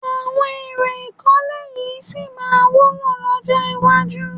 Àwọn èlò ìkọ́lé yìí sì máa wúlò lọ́jọ́ iwájú